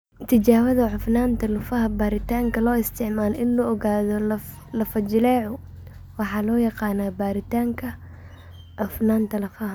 Tijaabada Cufnaanta Lafaha Baaritaanka loo isticmaalo in lagu ogaado lafo-jileecu waxa loo yaqaannaa baaritaanka cufnaanta lafaha.